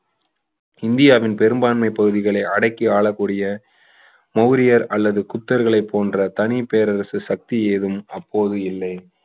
இந்தியாவின் பெரும்பான்மை பகுதிகளை அடக்கி ஆளக்கூடிய மௌரியர் அல்லது குப்தர்களை போன்ற தனிப் பேரரசு சக்தி ஏதும் அப்போது இல்லை